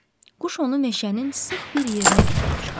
Quş onu meşənin sıx bir yerinə gətirib çıxardı.